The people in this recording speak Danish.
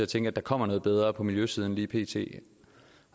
tænke at der kommer noget bedre på miljøsiden lige pt